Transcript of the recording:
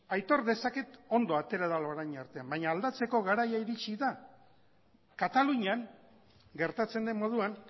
aitor dezaket ondo atera dela orain arte baina aldatzeko garaia iritsi da katalunian gertatzen den moduan